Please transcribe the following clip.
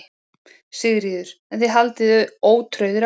Sigríður: En þið haldið ótrauðir áfram?